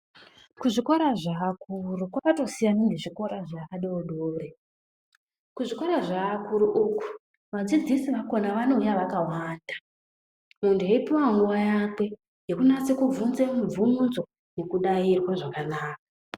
Kuzvikora zveakuru kwakatosiyana nekuzvikora zvevadodori kuzvikora zvevakuru uku vadzidzisi vakona vanouya vakawanda muntu eipuwa nguwa yake yekunyaso kuvhunza muvhunzo eidairwa zvakanaka.